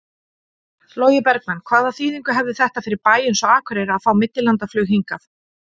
Logi Bergmann: Hvaða þýðingu hefði þetta fyrir bæ eins og Akureyri að fá millilandaflug hingað?